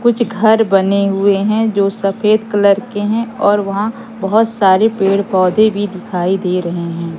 कुछ घर बने हुए है जो सफेद कलर के है और वहां बहोत सारे पेड़-पौधे भी दिखाई दे रहे है।